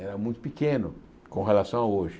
era muito pequeno com relação a hoje.